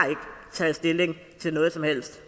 taget stilling til noget som helst